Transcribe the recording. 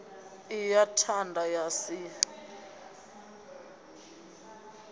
i ḽa thanda ḽa si